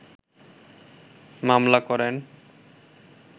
মামলা করেন